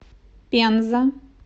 пенза